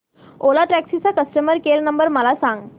ओला taxi चा customer care number मला सांग